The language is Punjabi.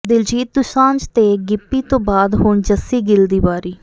ਦਿਲਜੀਤ ਦੁਸਾਂਝ ਤੇ ਗਿੱਪੀ ਤੋਂ ਬਾਅਦ ਹੁਣ ਜੱਸੀ ਗਿੱਲ ਦੀ ਵਾਰੀ